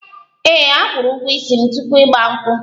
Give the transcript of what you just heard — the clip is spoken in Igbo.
Ee, akwụrụ ụgwọ ísì m tupu igba nkwu